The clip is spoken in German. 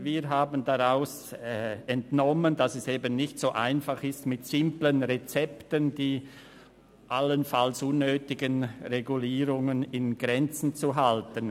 Wir haben daraus entnommen, dass es nicht so einfach ist, mit simplen Rezepten die allenfalls unnötigen Regulierungen in Grenzen zu halten.